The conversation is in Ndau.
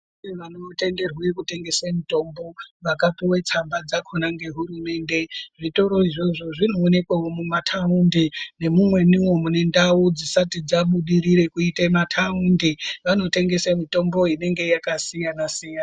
Kune vanotenderwe kutengese mitombo vakapuwe tsamba dzakhona ngehurumende, zvitoro izvozvo zvinoonekwawo mumataundi nemumweniwo mune ndau dzisati dzabudirire kuite mataundi, vanotengese mitombo inenge yakasiyana -siyana.